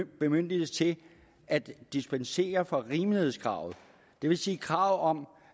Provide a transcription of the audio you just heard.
bemyndigelse til at dispensere fra rimelighedskravet det vil sige kravet om